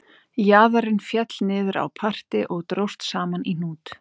Jaðarinn féll niður á parti og dróst saman í hnút